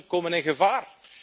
Pensioenen komen in gevaar.